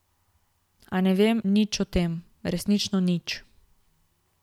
A ne vem nič o tem, resnično nič.